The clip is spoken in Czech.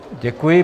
Děkuji.